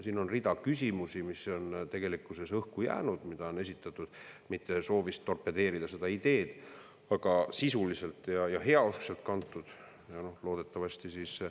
Siin on rida küsimusi, mis on õhku jäänud, mida on esitatud mitte soovist torpedeerida seda ideed, vaid mis on sisulisusest ja heausksusest kantud.